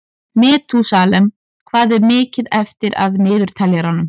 Metúsalem, hvað er mikið eftir af niðurteljaranum?